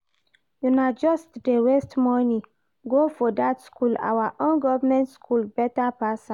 Una just dey waste money go for that school, our own government school better pass am